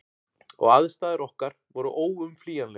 Og aðstæður okkar voru óumflýjanlegar.